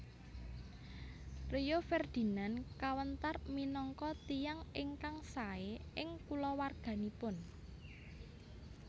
Rio Ferdinand kawentar minangka tiyang ingkang sae ing kulawarganipun